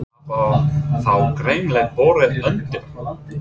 En það var þá greinilega borið undir hann?